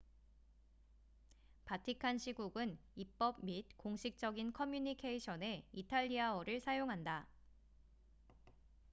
바티칸 시국은 입법 및 공식적인 커뮤니케이션에 이탈리아어를 사용한다